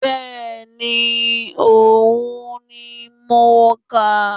Bẹ́ẹ̀ni òhun ni mo kà